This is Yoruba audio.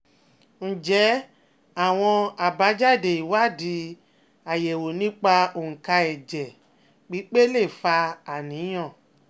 Ǹjẹ́ àwọn àbájáde ìwádìí ayewo nípa onka ẹ̀jẹ̀ pipe lè fa àníyàn?